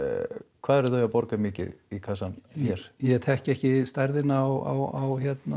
hvað eru þau að borga mikið í kassann hér ég þekki ekki stærðina á